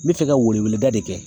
N bɛ fɛ ka weleweleda de kɛ